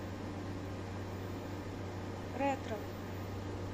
ретро